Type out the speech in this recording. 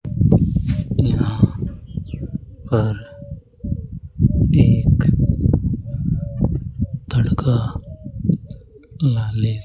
यहां पर एक तड़का लाले --